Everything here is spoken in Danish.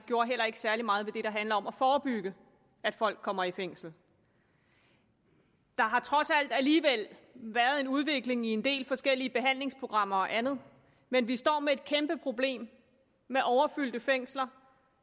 jo heller ikke særlig meget ved det der handler om at forebygge at folk kommer i fængsel der har trods alt alligevel været en udvikling i en del forskellige behandlingsprogrammer og andet men vi står med et kæmpe problem med overfyldte fængsler